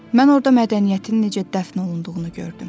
Mən orda mədəniyyətin necə dəfn olunduğunu gördüm.